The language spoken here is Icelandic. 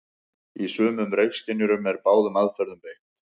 Í sumum reykskynjurum er báðum aðferðum beitt.